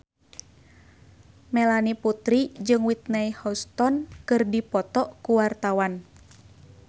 Melanie Putri jeung Whitney Houston keur dipoto ku wartawan